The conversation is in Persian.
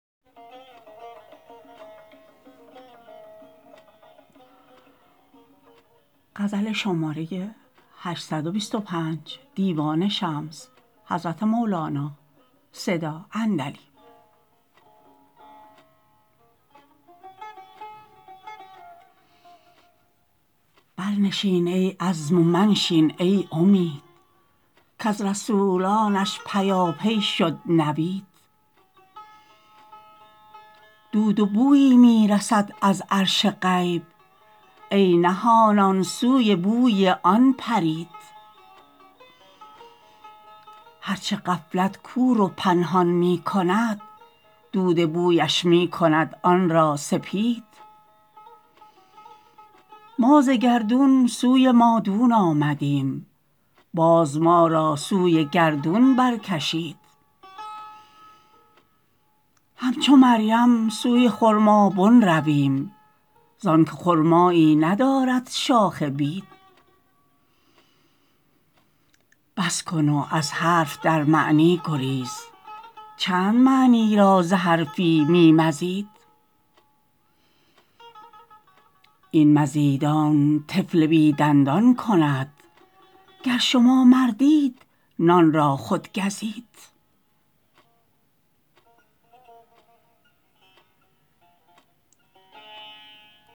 برنشین ای عزم و منشین ای امید کز رسولانش پیاپی شد نوید دود و بویی می رسد از عرش غیب ای نهانان سوی بوی آن پرید هر چه غفلت کور و پنهان می کند دود بویش می کند آن را سپید ما ز گردون سوی مادون آمدیم باز ما را سوی گردون برکشید همچو مریم سوی خرمابن رویم زانک خرمایی ندارد شاخ بید بس کن و از حرف در معنی گریز چند معنی را ز حرفی می مزید این مزیدن طفل بی دندان کند گر شما مردید نان را خود گزید